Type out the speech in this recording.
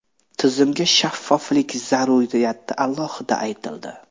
Tizimga shaffoflik zaruriyati alohida aytildi.